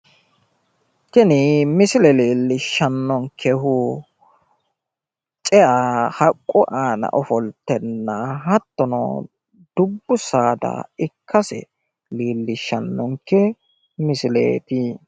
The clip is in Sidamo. tini misile leellishshannonkehu cea haqqu aana ofoltenna hattono dubbu saada ikkase leellishshannonke misileeti.